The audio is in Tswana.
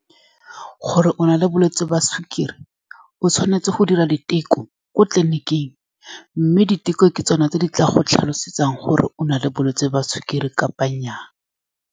Gore o na le bolwetsi jwa sukiri, o tshwanetse go dira diteko ko tleliniking, mme diteko ke tsone tse di tla go tlhalosetsang gore o na le bolwetse jwa sukiri kapa nnya.